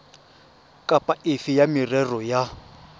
kapa efe ya merero ya